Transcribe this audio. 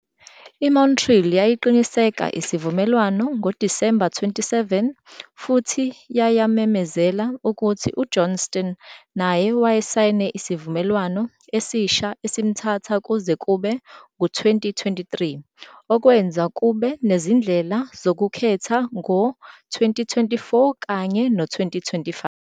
IMontreal yayiqiniseka isivumelwano ngoDisemba 27 futhi yayamemezela ukuthi uJohnston naye wayesayine isivumelwano esisha esimthatha kuze kube ngu-2023, okwenza kube nezindlela zokukhetha ngo-2024 kanye no-2025.